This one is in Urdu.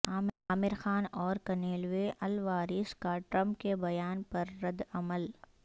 عامر خان اور کنیلو الواریس کا ٹرمپ کے بیان پر ردعمل